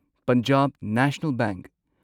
Punjab national bank